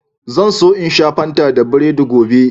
Zan so in sha Fanta da burodi gobe.